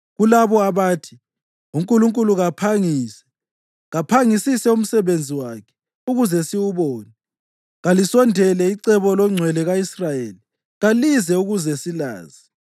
kulabo abathi, “UNkulunkulu kaphangise, kaphangisise umsebenzi wakhe ukuze siwubone. Kalisondele icebo loNgcwele ka-Israyeli kalize ukuze silazi.”